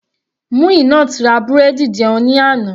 Muinat ra búrẹ́dì jẹun ní àná.